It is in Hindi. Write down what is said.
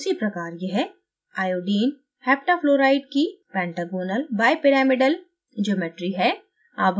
उसी प्रकार यह iodine heptafluoride की pentagonal bipyramidal geometry है